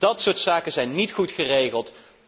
Dat soort zaken zijn niet goed geregeld.